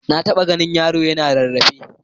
Na taɓa ganin yaro yana rarrafe.